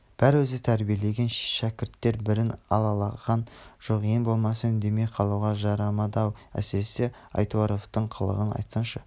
бәрі өзі тәрбиелеген шәкірттер бірін алалаған жоқ ең болмаса үндемей қалуға жарамады-ау әсіресе айтуаровтың қылығын айтсаңшы